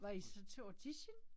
Var I så til audition?